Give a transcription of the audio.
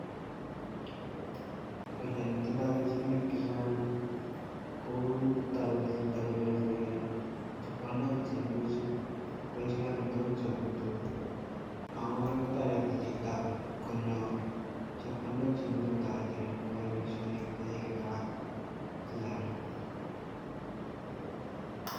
Boishoni tindo kelchinoik chechang ko toreti yuton konyorchike chepkondok cheimuchi kwolchine amitwokik chebo betut ak ko kora kotoreti chito konyor chepkondok cheimuche kotoret eng' koyaen boishonik chekikitaban chechang